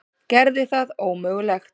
Gerði það ómögulegt.